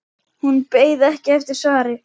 Hún beið ekki eftir svari.